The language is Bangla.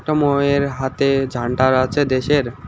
একটা মোয়ের হাতে ঝান্ডার আছে দেশের।